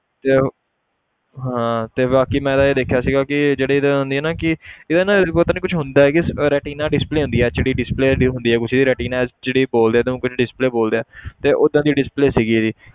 ਤੇ ਯਾਰ ਹਾਂ ਤੇ ਬਾਕੀ ਮੈਂ ਇਹ ਦੇਖਿਆ ਸੀਗਾ ਕਿ ਜਿਹੜੀ ਇਹਦੀ ਹੁੰਦੀ ਆ ਨਾ ਕਿ ਇਹਦਾ ਨਾ ਪਤਾ ਨੀ ਕੁਛ ਹੁੰਦਾ ਹੈ ਕਿ retina display ਹੁੰਦੀ ਹੈ HD display ਜਿਹੜੀ ਹੁੰਦੀ ਆ ਕੁਛ retina HD ਬੋਲਦੇ ਆ display ਬੋਲਦੇ ਆ ਤੇ ਓਦਾਂ ਦੀ display ਸੀਗੀ ਇਹਦੀ